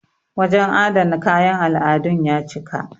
wajen adana kayan al'adun ya cika